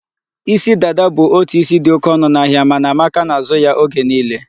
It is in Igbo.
Isi dada bụ otu isi dị oke ọnụ n'ahịa, mana Amaka na-azụ ya oge niile.